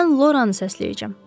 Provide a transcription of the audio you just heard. Mən Loranı səsləyəcəm.